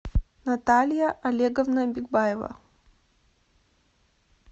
наталья олеговна бигбаева